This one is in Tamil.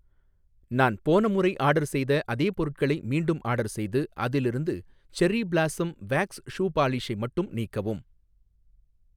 நான் போன முறை ஆர்டர் செய்த அதே பொருட்களை மீண்டும் ஆர்டர் செய்து, அதிலிருந்த செர்ரி பிலாஸம் வேக்ஸ் ஷூ பாலிஷை மட்டும் நீக்கவும்